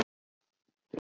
Guð forði okkur frá því.